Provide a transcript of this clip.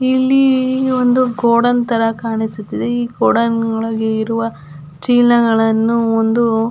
ಇಲ್ಲಿ ಒಂದು ಗೋಡೌನ್ ತರ ಕಾಣಿಸ್ತಿದೆ ಈ ಗೋಡೌನ್ ಒಳಗೆ ಇರುವ ಚೀಲಗಳನ್ನು ಒಂದು --